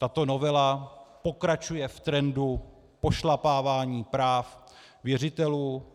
Tato novela pokračuje v trendu pošlapávání práv věřitelů.